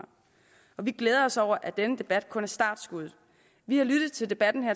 vi glæder os over at den debat kun er startskuddet vi har lyttet til debatten her